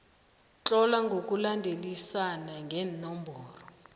tlola ngokulandelisana ngeenomboro